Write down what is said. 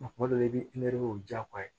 Kuma dɔ la i bɛ i nɛrɛw jaagoya